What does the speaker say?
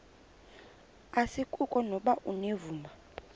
asikuko nokuba unevumba